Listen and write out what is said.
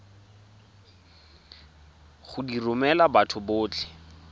go di romela batho botlhe